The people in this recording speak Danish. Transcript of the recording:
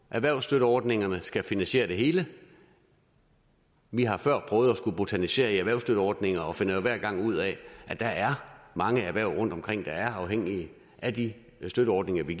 erhvervsstøtteordningerne skal finansiere det hele vi har før prøvet at skulle botanisere i erhvervsstøtteordninger og finder jo hver gang ud af at der er mange erhverv rundtomkring der er afhængige af de støtteordninger vi